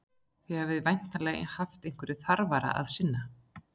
Þið hafið væntanlega haft einhverju þarfara að sinna.